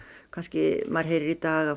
kannski maður heyrir í dag að